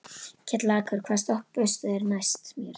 Kjallakur, hvaða stoppistöð er næst mér?